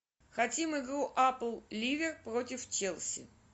хотим игру апл ливер против челси